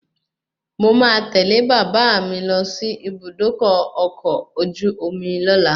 Mo máa tẹ́lẹ̀ bàbà mi lọ sí Ibùdókọ̀ ọkọ̀ ojú omi lola